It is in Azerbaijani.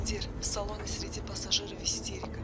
Komandir, salon isridi, pasajir isterika.